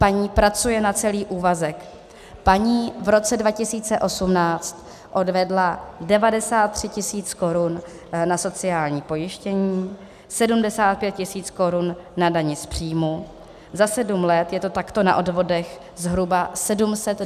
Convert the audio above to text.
Paní pracuje na celý úvazek, paní v roce 2018 odvedla 93 tisíc korun na sociální pojištění, 75 tisíc korun na dani z příjmu, za sedm let je to takto na odvodech zhruba 726 tisíc korun.